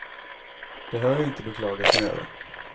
Det har jag inte beklagat mig över.